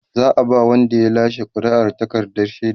za'a ba Wanda ya lashe ƙuri'ar takardar shaida